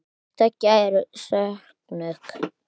Hvort tveggja eru skosk nöfn.